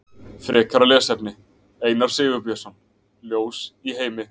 Frekara lesefni: Einar Sigurbjörnsson, Ljós í heimi.